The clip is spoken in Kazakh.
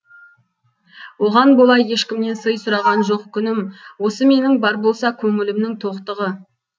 оған бола ешкімнен сый сұраған жоқ күнім осы менің бар болса көңілімнің тоқтығы